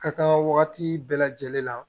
Ka kan wagati bɛɛ lajɛlen na